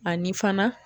Ani fana